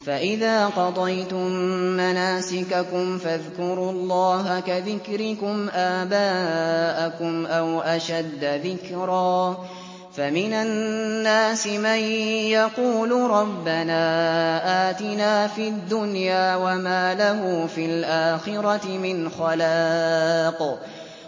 فَإِذَا قَضَيْتُم مَّنَاسِكَكُمْ فَاذْكُرُوا اللَّهَ كَذِكْرِكُمْ آبَاءَكُمْ أَوْ أَشَدَّ ذِكْرًا ۗ فَمِنَ النَّاسِ مَن يَقُولُ رَبَّنَا آتِنَا فِي الدُّنْيَا وَمَا لَهُ فِي الْآخِرَةِ مِنْ خَلَاقٍ